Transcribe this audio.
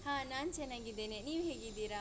ಹಾ ನಾನ್ ಚೆನ್ನಾಗಿದ್ದೇನೆ, ನೀವ್ ಹೇಗಿದ್ದೀರಾ?